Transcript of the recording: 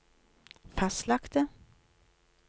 fastlagte